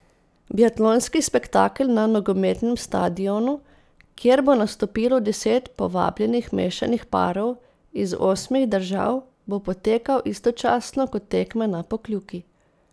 Biatlonski spektakel na nogometnem stadionu, kjer bo nastopilo deset povabljenih mešanih parov iz osmih držav, bo potekal istočasno kot tekme na Pokljuki.